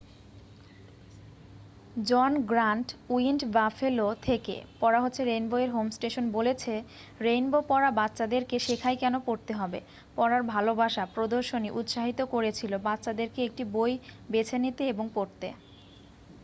"জন Grant উইন্ড Buffalo থেকে পড়া হচ্ছে রেইনবো-এর হোম স্টেশন বলেছে রেইনবো পড়া বাচ্চাদেরকে শেখায় কেন পড়তে হবে ...পড়ার ভালোবাসা -[ প্রদর্শনী ] উৎসাহিত করেছিল বাচ্চাদেরকে একটি বই বেছে নিতে এবং পড়তে।"